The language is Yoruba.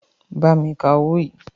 Bámi ka owó yìí.